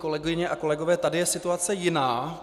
Kolegové a kolegyně, tady je situace jiná.